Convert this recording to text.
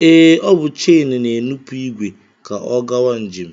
Ee, ọ bụ chen na-enupụ ìgwè ka ọ gawa njem